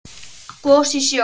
Gos í sjó